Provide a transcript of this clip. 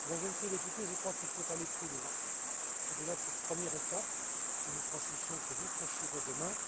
Mesdames et Messieurs les députés, je crois qu'il faut aller plus loin, au delà de cette première étape que nous franchissons et que vous franchirez demain.